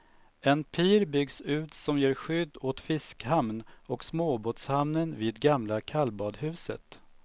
En pir byggs ut som ger skydd åt fiskhamn och småbåtshamnen vid gamla kallbadhuset.